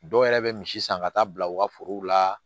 Dɔw yɛrɛ bɛ misi san ka taa bila u ka forow la